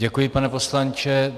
Děkuji, pane poslanče.